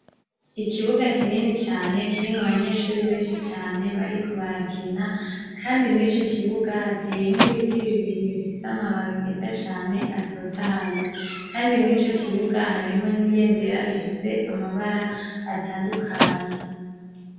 Ikibuga kinini cane kirimwo abanyeshure benshi cane bariko barakina, kandi mwico kibuga hateyemwo ibiti bibiri bifise amababi meza cane atotahaye, kandi mwico kibuga harimwo n'ibendera ifise amabara atandukanye.